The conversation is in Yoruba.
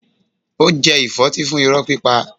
Ó jẹ ìfọ́tí fún irọ́ pípa.